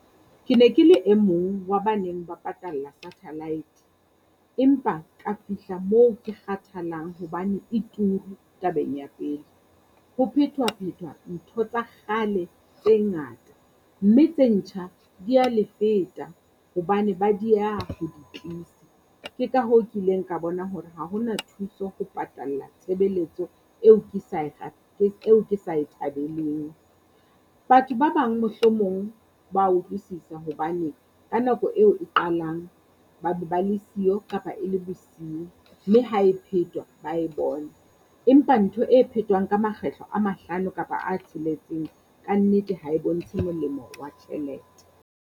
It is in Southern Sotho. Ke ne ke le e mong wa ba neng ba patalla satellite, empa ka fihla moo ke kgathalang hobane e turu tabeng ya pele. Ho phetwa-phetwa ntho tsa kgale tse ngata mme tse ntjha dia le feta hobane ba dieha ho di tlisa. Ke ka hoo ke ileng ka bona hore ha ho na thuso ho patalla tshebeletso eo ke sa e eo ke sa e thabeleng. Batho ba bang mohlomong ba utlwisisa hobane ka nako eo e qalang ba be ba le siyo kapa e le bosiu mme ha e phetwa ba e bona. Empa ntho e phetwang ka makgetlo a mahlano kapa a tsheletseng kannete ha e bontshe molemo wa tjhelete.